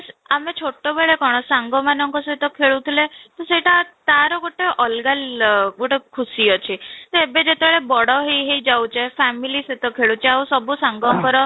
ଆମେ ଛୋଟ ବେଳେ କ'ଣ ସାଙ୍ଗ ମାନଙ୍କ ସହିତ ଖୋଲୁଥିଲେ, ସେଇଟା ତା'ର ଗୋଟେ ଅଲଗା ଗୋଟେ ଖୁସି ଅଛି, ସେ ଏବେ ଯେତେବେଳେ ବଡ ହେଇ ହେଇ ଯାଉଛେ family ସହିତ ଖେଳୁଛେ ଆଉ ସବୁ ସାଙ୍ଗଙ୍କର